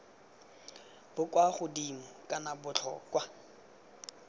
bo kwa godimo kana botlhokwa